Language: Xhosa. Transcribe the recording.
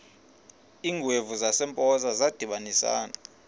iingwevu zasempoza zadibanisana